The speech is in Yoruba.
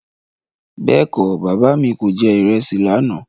Bẹ́ẹ̀kọ́, Bàbá mi kò jẹ ìrẹsì lànà.